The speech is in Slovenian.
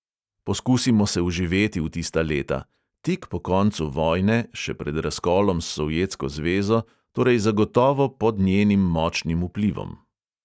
Poskusimo se vživeti v tista leta: tik po koncu vojne, še pred razkolom s sovjetsko zvezo, torej zagotovo pod njenim močnim vplivom.